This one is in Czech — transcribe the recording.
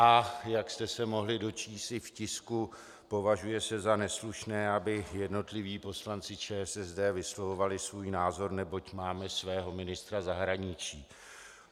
A jak jste se mohli dočíst i v tisku, považuje se za neslušné, aby jednotliví poslanci ČSSD vyslovovali svůj názor, neboť máme svého ministra zahraničí.